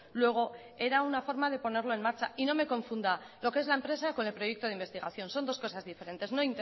luego era una forma de ponerlo en marcha y no me confunda lo que es la empresa con el proyecto de investigación son dos cosas diferentes no